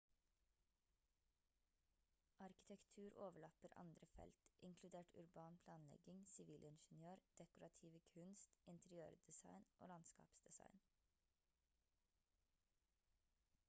arkitektur overlapper andre felt inkludert urban planlegging sivilingeniør dekorative kunst interiørdesign og landskapsdesign